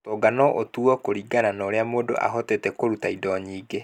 Ũtonga no ũtuo kũringana na ũrĩa mũndũ ahotete kũruta indo nyingĩ.